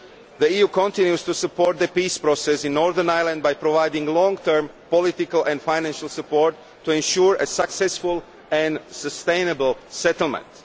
kind. The EU continues to support the peace process in Northern Ireland by providing long term political and financial support to ensure a successful and sustainable settlement.